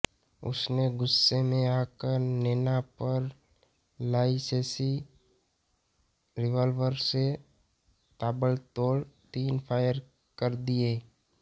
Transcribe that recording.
उसने गुस्से में आकर नैना पर लाइसेंसी रिवाल्वर से ताबड़तोड़ तीन फायर कर दिए